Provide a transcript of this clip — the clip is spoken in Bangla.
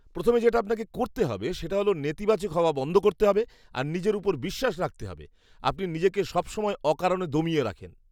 প্রথমে যেটা আপনাকে করতে হবে সেটা হল নেতিবাচক হওয়া বন্ধ করতে হবে আর নিজের ওপর বিশ্বাস রাখতে হবে। আপনি নিজেকে সব সময় অকারণে দমিয়ে রাখেন।